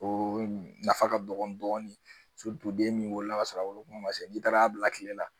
O nafa ka dɔgɔ dɔɔnin den min wolola kasɔrɔ woloma se n'i taara bila tile la